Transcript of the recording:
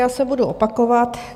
Já se budu opakovat.